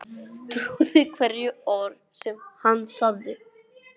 Trúði hverju orði sem hann sagði.